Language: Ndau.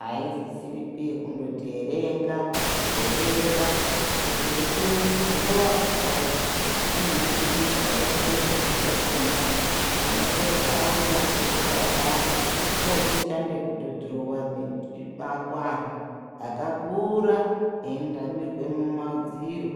hasisiripi yekundoti erenga erenga kuti eikone kudhurowa chaiko unofundiswa unodetserwa ikona munotozoaone akura payani otoshande kudhurowa makuanhu akakura einamire mumadziro.